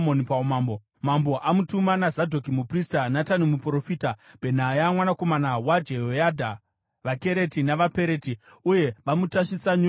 Mambo amutuma naZadhoki muprista, Natani muprofita, Bhenaya mwanakomana waJehoyadha, vaKereti navaPereti, uye vamutasvisa nyurusi ramambo,